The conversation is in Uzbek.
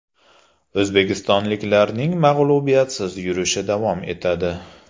O‘zbekistonliklarning mag‘lubiyatsiz yurishi davom etadi.